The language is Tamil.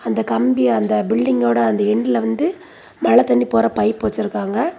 அந்த கம்பி அந்த பில்டிங்கோட அந்த எண்ட்ல வந்து மழை தண்ணி போற பைப் வச்சிருக்காங்க.